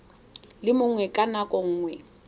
le mongwe ka nako nngwe